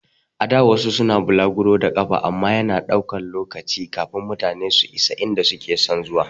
A da wasu suna bulaguro da ƙafa amma yana ɗaukan lokaci kafin mutane su isa inda suke son zuwa